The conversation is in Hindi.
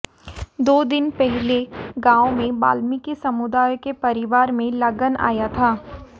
दो दिन पहले गांव में वाल्मीकि समुदाय के परिवार में लगन आया था